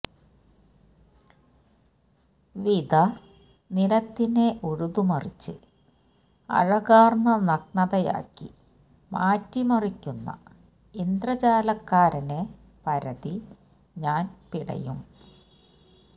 വിത നിലത്തിനെ ഉഴുതുമറിച്ച് അഴകാര്ന്ന നഗ്നതയാക്കി മാറ്റിമറിക്കുന്ന ഇന്ദ്രജാലക്കാരനെ പരതി ഞാന് പിടയും